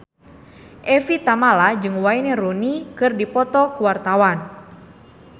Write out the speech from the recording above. Evie Tamala jeung Wayne Rooney keur dipoto ku wartawan